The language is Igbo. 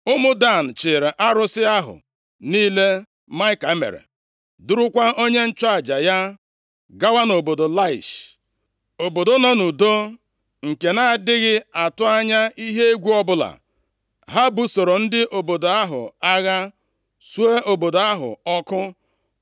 Ụmụ Dan chịịrị arụsị ahụ niile Maịka mere, durukwa onye nchụaja ya gawa nʼobodo Laish, obodo nọ nʼudo, nke na-adịghị atụ anya ihe egwu ọbụla. Ha busoro ndị obodo ahụ agha, suo obodo ahụ ọkụ.